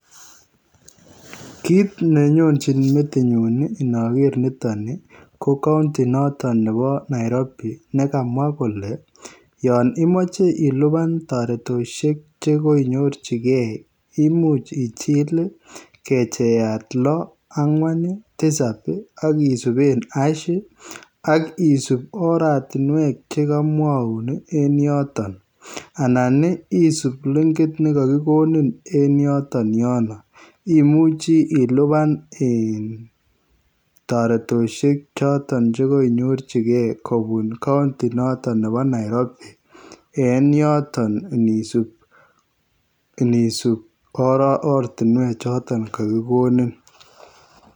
Kit ne nyonjiin metinyuun ii inaker nitoon nii ko [county] notoon nebo [Nairobi] ne kamwa kole yaan imachei ilupaan taretoshek che koinyorjigei imuuch ichil ii kechayaat loo angween ii tisaap ii akisupeen [harsh] ii akisuup ortinweek chekamwauun ii en yotoon Anan isuup linkiit neka kigonin en yotoon yonoo imuchii ilupaan taretoshek chotoon che koinyorjigei kobuun [county] nebo [Nairobi] en yotoon inisuup ortinweek chotoon kagigonin.